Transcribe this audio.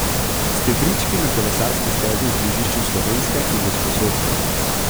Stebrički na kolesarski stezi v križišču Slovenske in Gosposvetske.